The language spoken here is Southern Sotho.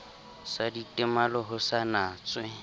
sa ditemalo ho sa natswe